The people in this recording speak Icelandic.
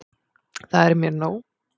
Það er mér nóg.